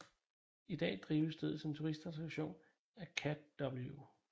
I dag drives stedet som turistattraktion af Cadw